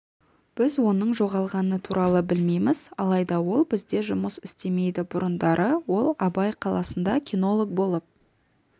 біз оның жоғалғаны туралы білмейміз алайда ол бізде жұмыс істемейді бұрындары ол абай қаласында кинолог болып